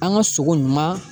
An ka sogo ɲuman